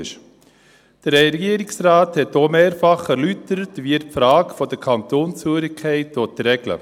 Der Regierungsrat hat auch mehrfach erläutert, wie er die Frage der Kantonszugehörigkeit regeln will.